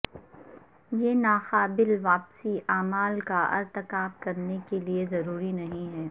یہ ناقابل واپسی اعمال کا ارتکاب کرنے کے لئے ضروری نہیں ہے